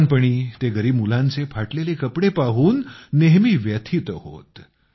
लहानपणी ते गरीब मुलांचे फाटलेले कपडे पाहून ते व्यथित होत